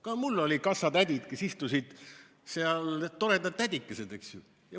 Ka mul olid kassatädid, kes istusid seal, toredad tädikesed, eks ju.